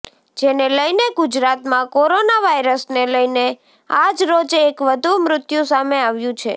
જેને લઇને ગુજરાતમાં કોરોના વાયરસને લઇને આજરોજ એક વધુ મૃત્યું સામે આવ્યું છે